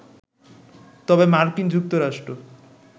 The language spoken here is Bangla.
তবে মার্কিন যুক্তরাষ্ট্র